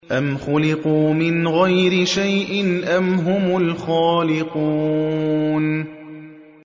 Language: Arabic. أَمْ خُلِقُوا مِنْ غَيْرِ شَيْءٍ أَمْ هُمُ الْخَالِقُونَ